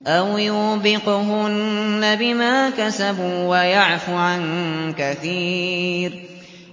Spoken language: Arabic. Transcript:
أَوْ يُوبِقْهُنَّ بِمَا كَسَبُوا وَيَعْفُ عَن كَثِيرٍ